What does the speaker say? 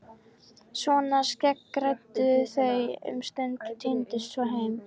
Svona skeggræddu þau um stund og tíndust svo heim.